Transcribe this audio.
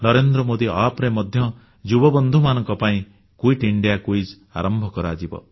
NarendraModiApp ରେ ମଧ୍ୟ ଯୁବକମାନଙ୍କ ପାଇଁ କ୍ୱିଟ୍ ଇଣ୍ଡିଆ କ୍ୱିଜ୍ ଆରମ୍ଭ କରାଯିବ